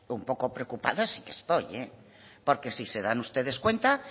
un poco preocupada sí que estoy porque si se dan ustedes cuenta